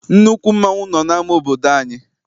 Nnukwu mmanwụ nọ n'ama obodo anyị.